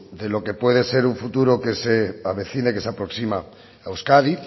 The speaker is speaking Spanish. de lo que puede ser un futuro que se avecine que se aproxima a euskadi